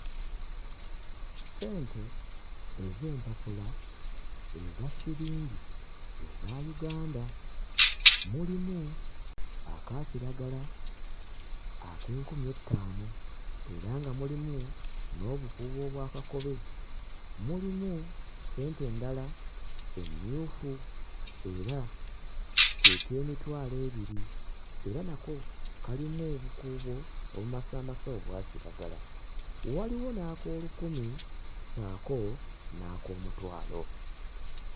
Ssente ez'empapula eza siringi eza Uganda. Mulimu aka kiragala ak'enkumi ettaano era nga mulimu n'obukuubo obwa kakobe, mulimu ssente endala emmyufu era ke k'emitwalo ebiri era nako kalimu obukuubo obumasaamasa obwa kiragala; waliwo n'ak'olukumi ssaako n'ak'omutwalo.